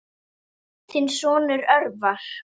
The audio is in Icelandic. Þinn sonur, Örvar.